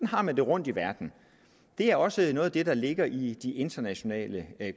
har man det rundt i verden det er også noget af det der ligger i de internationale